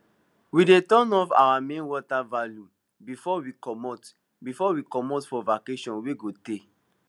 we dey turn off our main water valve before we comot before we comot for vacation wey go tey